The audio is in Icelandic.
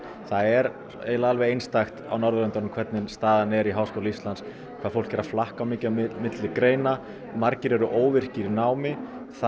það er eiginlega alveg einstakt á Norðurlöndum hvernig staðan er í Háskóla Íslands hvað fólk er að flakka mikið á milli greina margir eru óvirkir í námi